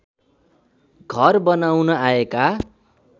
घर बनाउन आएका